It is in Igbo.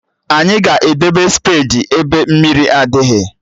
Anyị ga-edebe spedi ebe mmiri adịghị